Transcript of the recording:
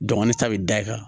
Dɔngili ta bɛ da i kan